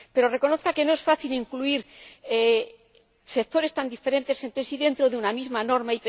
Pero reconozca que no es fácil incluir sectores tan diferentes entre sí dentro de una misma norma